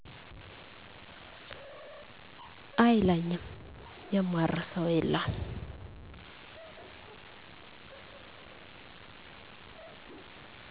አይለኝም የማረሳው የለም